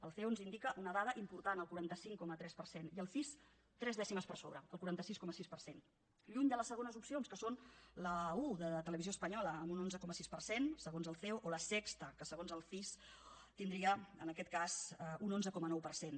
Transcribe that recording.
el ceo ens indica una dada important el quaranta cinc coma tres per cent i el cis tres dècimes per sobre el quaranta sis coma sis per cent lluny de les segones opcions que són la un de televisió espanyola amb un onze coma sis per cent segons el ceo o la sexta que segons el cis tindria en aquest cas un onze coma nou per cent